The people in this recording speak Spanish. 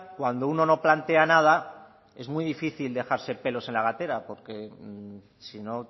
cuando uno no plantea nada es muy difícil dejarse pelos en la gatera porque si no